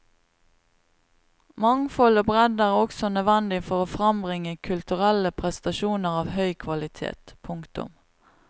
Mangfold og bredde er også nødvendig for å frambringe kulturelle prestasjoner av høy kvalitet. punktum